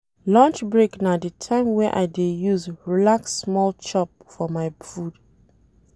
Lunch break na di time wey I dey use relax small chop my food.